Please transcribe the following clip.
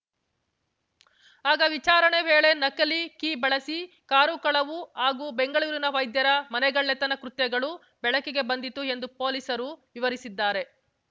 ಆಗ ವಿಚಾರಣೆ ವೇಳೆ ನಕಲಿ ಕೀ ಬಳಸಿ ಕಾರು ಕಳವು ಹಾಗೂ ಬೆಂಗಳೂರಿನ ವೈದ್ಯರ ಮನೆಗಳ್ಳತನ ಕೃತ್ಯಗಳು ಬೆಳಕಿಗೆ ಬಂದಿತು ಎಂದು ಪೊಲೀಸರು ವಿವರಿಸಿದ್ದಾರೆ